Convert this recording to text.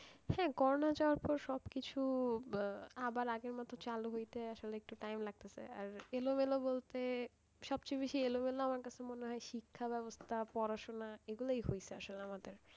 হ্যাঁ করোনা যাওয়ার পর সবকিছু আবার আগের মতো চালু হইতে আসলে একটু time লাগছে আর এলো মেলো বলতে সবচেয়ে বেশি এলো মেলো আমার কাছে মনে হয় শিক্ষাব্যবস্থা, পড়াশোনা এগুলোই হয়েছে আসলে আমাদের,